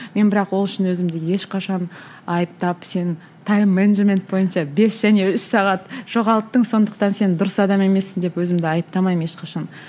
мен бірақ ол үшін өзімді ешқашан айыптап сен тайм менеджмент бойынша бес және үш сағат жоғалттың сондықтан сен дұрыс адам емессің деп өзімді айыптамаймын ешқашан